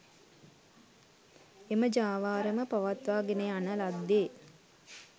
එම ජාවාරම පවත්වා ගෙන යන ලද්දේ